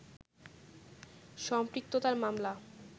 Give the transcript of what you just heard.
সম্পৃক্ততার মামলা